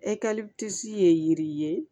ye yiri ye